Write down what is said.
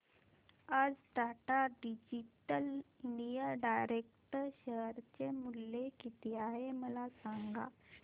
आज Tata digital India direct share चे मूल्य किती आहे मला सांगा